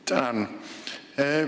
Tänan!